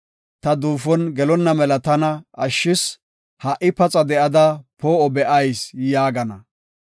Ta duufon gelonna mela tana ashshis; ha77i paxa de7ada poo77o be7ayis’ yaagana.